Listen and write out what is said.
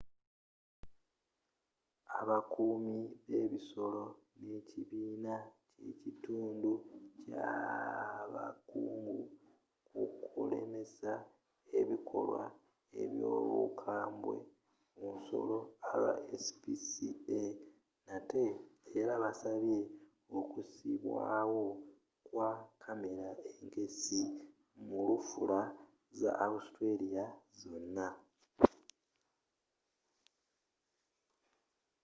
abakuumi bebisolo n’ekibiina kyekitundu kyabakungu kukulemesa ebikolwa ebyobukambwe ku nsolo rspca natte era basabye okusibwaawo kwa kamera enkesi mu lufula za australia zonna